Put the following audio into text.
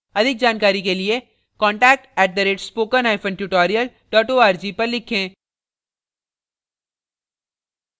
अधिक जानकारी के लिए contact @spokentutorial org पर लिखें